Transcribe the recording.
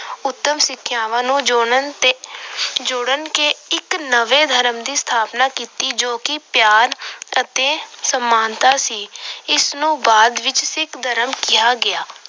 ਉੱਤਮ ਸਿੱਖਿਆਵਾਂ ਨੂੰ ਜੋੜਨ ਤੇ ਅਹ ਜੋੜ ਕੇ ਇੱਕ ਨਵੇਂ ਧਰਮ ਦੀ ਸਥਾਪਨਾ ਕੀਤੀ ਜੋ ਕਿ ਪਿਆਰ ਅਤੇ ਸਮਾਨਤਾ ਸੀ। ਇਸ ਨੂੰ ਬਾਅਦ ਵਿੱਚ ਸਿੱਖ ਧਰਮ ਕਿਹਾ ਗਿਆ।